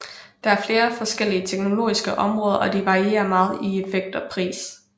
Der er flere forskellige teknologiske områder og de varierer meget i effekt og pris